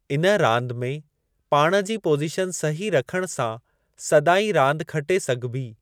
इन रांदि में पाण जी पोज़ीशन सही रखणु सां सदाईं रांदि खटे सघिबी।